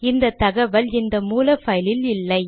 இந்த தகவல் இந்த மூல பைலில் இல்லை